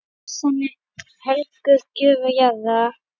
Messan er helguð gjöfum jarðar.